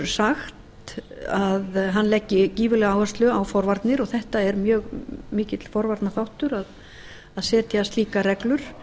sagt að hann leggi gífurlega áherslu á forvarnir og þetta er mjög mikill forvarnarþáttur að setja slíkar reglur